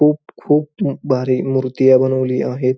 खूप खूप म भारी मुर्तिया बनवली आहेत.